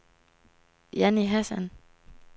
Jannie Hassan